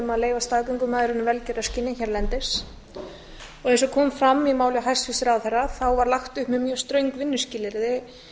leyfa staðgöngumæðrun í velgjörðarskyni hérlendis og eins og kom fram í máli hæstvirts ráðherra þá var lagt upp með mjög ströng vinnuskilyrði